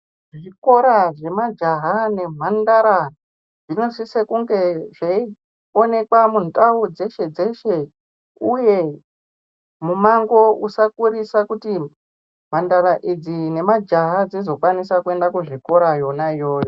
Zvikora zvemajaha nemhandara zvinosise kunge zveionekwa mundau dzeshe-dzeshe, uye mumango usakurisa kuti mhandara idzi nemajaha dzizokwanisa kuenda kuzvikora yona iyoyo.